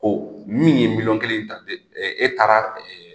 Min ye miliyɔn kelen ta e taara